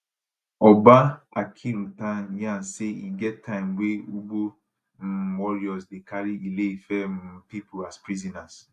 oba akinruntan yarn say e get time wey ugbo um warriors dey carry ile ife um pipo as prisoners